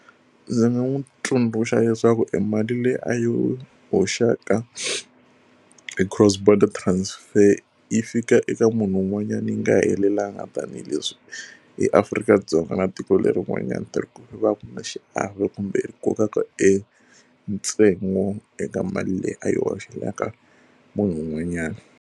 Ndzi nga n'wi tsundzuxa leswaku emali leyi a yi hoxaka hi cross border transfer yi fika eka munhu un'wanyana yi nga helelangiki tanihileswi eAfrika-Dzonga na tiko leri un'wanyana ku va ku ri na xiave kumbe ku koka ka entsengo eka mali leyi a yi hoxela ka munhu un'wanyana.